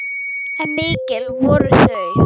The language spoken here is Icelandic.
En mikil voru þau.